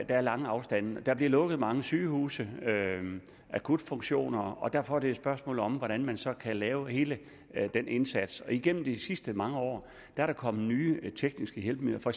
er lange afstande og der bliver lukket mange sygehuse akutfunktioner og derfor er det et spørgsmål om hvordan man så kan lave hele den indsats igennem de sidste mange år er der kommet nye tekniske hjælpemidler for